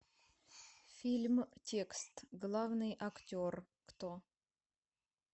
фильм текст главный актер кто